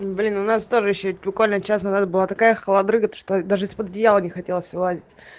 блин у нас тоже ещё буквально час назад была такая холодрыга то что даже из-под одеяла не хотелось вылазить